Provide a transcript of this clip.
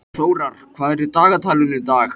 Þórar, hvað er í dagatalinu í dag?